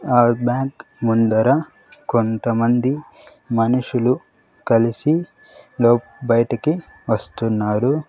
ఆ బ్యాంక్ ముందర కొంతమంది మనుషులు కలిసి లో బయటకి వస్తున్నారు.